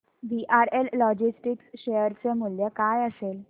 VRL logistics share चे मूल्य काय असेल